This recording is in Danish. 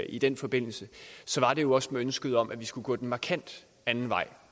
i den forbindelse var det jo også med ønsket om at vi skulle gå en markant anden vej